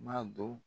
M'a dɔn